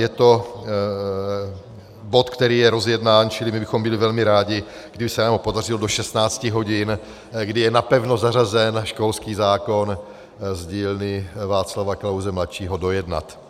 Je to bod, který je rozjednán, čili my bychom byli velmi rádi, kdyby se nám podařil do 16 hodin, kdy je napevno zařazen školský zákon z dílny Václava Klause mladšího, dojednat.